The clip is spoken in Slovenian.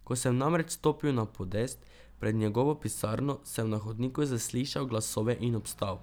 Ko sem namreč stopil na podest pred njegovo pisarno, sem na hodniku zaslišal glasove in obstal.